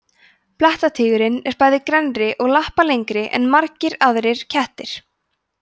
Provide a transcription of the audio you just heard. blettatígurinn er bæði grennri og lappalengri en margir aðrir kettir